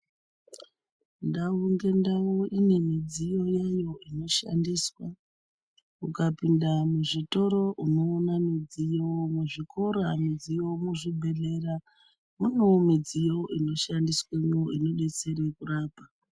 Ndau nendau ine mudziyo yayo inoshandiswa ukapinda muzvitoro unoona mudziyo muzvikora mudziyo muzvibhehlera munewo mudziyo ino shandiswamo inodetsere pakurapa.